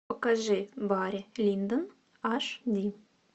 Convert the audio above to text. покажи барри линдон аш ди